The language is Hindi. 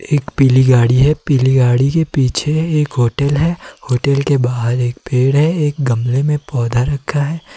एक पीली गाड़ी है पीली गाड़ी के पीछे एक होटल है होटल के बाहर एक पेड़ है एक गमले में पौधा रखा है।